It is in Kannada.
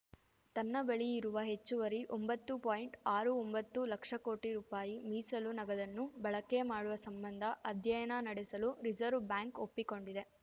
ತನ್ನ ಬಳಿ ಇರುವ ಹೆಚ್ಚುವರಿ ಒಂಬತ್ತುಆರು ಒಂಬತ್ತು ಲಕ್ಷ ಕೋಟಿ ರುಪಾಯಿ ಮೀಸಲು ನಗದನ್ನು ಬಳಕೆ ಮಾಡುವ ಸಂಬಂಧ ಅಧ್ಯಯನ ನಡೆಸಲು ರಿಸರ್ವ್ ಬ್ಯಾಂಕ್‌ ಒಪ್ಪಿಕೊಂಡಿದೆ